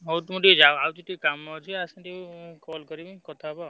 ହଉ ତୁମେ ଟିକେ ଯାଅ ଆଉଛି ଟିକେ କାମ ଅଛି ଆସେ ଟିକେ call କରମି କଥା ହବା।